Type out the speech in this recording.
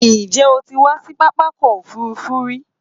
Ǹjẹ́ o ti wá sí pápákọ òfurufú rí?